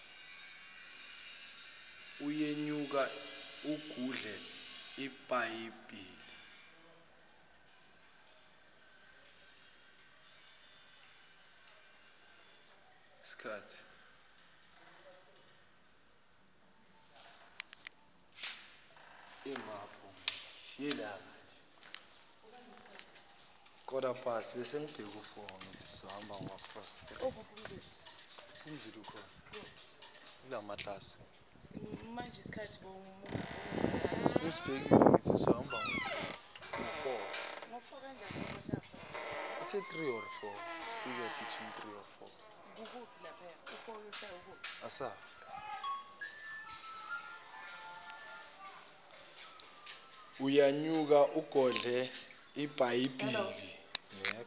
uyenyuka ugodle ibhayibheli